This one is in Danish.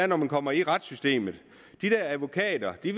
når man kommer i retssystemet de der advokater ved